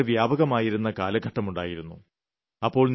നികുതി വളരെ വ്യാപകമായിരുന്ന കാലഘട്ടമുണ്ടായിരുന്നു